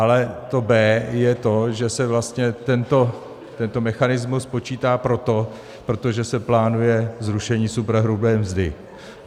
Ale to B je to, že se vlastně tento mechanismus počítá proto, protože se plánuje zrušení superhrubé mzdy.